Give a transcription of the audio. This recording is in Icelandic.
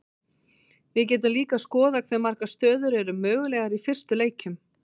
við getum líka skoðað hve margar stöður eru mögulegar í fyrstu leikjum